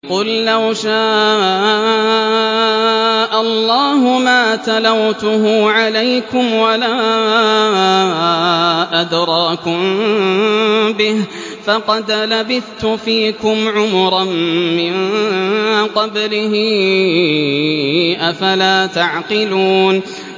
قُل لَّوْ شَاءَ اللَّهُ مَا تَلَوْتُهُ عَلَيْكُمْ وَلَا أَدْرَاكُم بِهِ ۖ فَقَدْ لَبِثْتُ فِيكُمْ عُمُرًا مِّن قَبْلِهِ ۚ أَفَلَا تَعْقِلُونَ